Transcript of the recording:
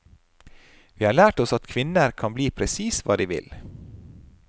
Vi har lært oss at kvinner kan bli presis hva de vil.